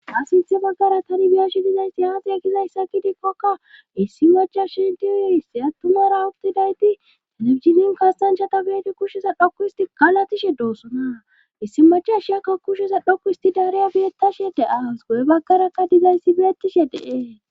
asinthe baggara tani miyashi dizaysti aaxiya gizayssa gidikkoka issi macha shintiyo hissi attumara uttidayti telibjinin kastanchata beete kushshesa dhokku isti kalatishe doossona issi macha shiyakka kushesa dhokku histi daariya beettashe de7as go7e baggarakka dizayssi beettishe deee